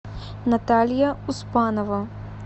наталья успанова